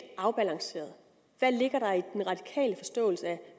afbalanceret hvad ligger der i den radikale forståelse af